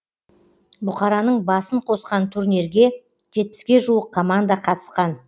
бұқараның басын қосқан турнирге жетпіске жуық команда қатысқан